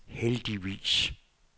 heldigvis